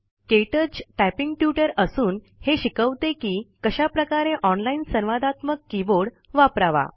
क्टच typing tutor असून हे शिकवते की कशाप्रकारे ऑनलाइन संवादात्मक कीबोर्ड वापरावा